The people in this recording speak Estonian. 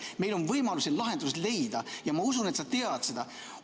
Meil on võimalus lahendus leida ja ma usun, et sa tead seda.